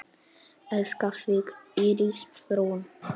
Elska þig, Íris Rún.